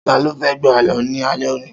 Ta ló fẹ́ gbo Àlọ́ ni alẹ́ òní?